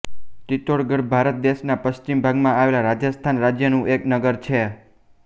ચિત્તોડગઢ ભારત દેશના પશ્ચિમ ભાગમાં આવેલા રાજસ્થાન રાજ્યનું એક નગર છે